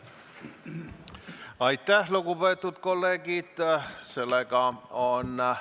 Aitäh, lugupeetud kolleegid!